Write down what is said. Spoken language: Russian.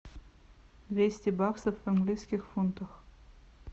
двести баксов в английских фунтах